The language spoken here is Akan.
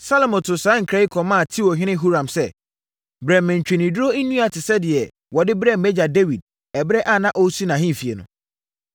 Salomo too saa nkra yi kɔmaa Tirohene Huram: “Brɛ me ntweneduro nnua te sɛ deɛ wɔde brɛɛ mʼagya Dawid ɛberɛ a na ɔresi nʼahemfie no.